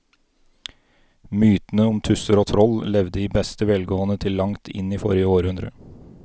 Mytene om tusser og troll levde i beste velgående til langt inn i forrige århundre.